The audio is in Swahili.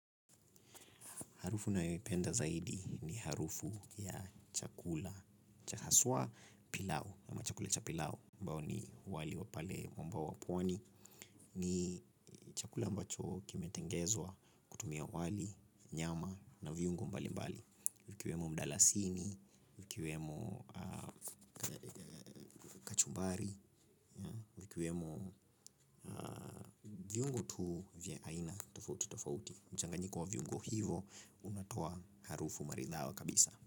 Harufu nayoipenda zaidi ni harufu ya chakula cha haswa pilau ama chakula cha pilau ambao ni wali wa pale mwambao wa pwani ni chakula ambacho kimetengezwa kutumia wali, nyama na viungo mbali mbali. Vikiwemo mdalasini, vikiwemo mbari, vikiwemo viungo tu vya aina tofauti tofauti. Mchanganyiko wa viungo hivo unatoa harufu maridhawa kabisa.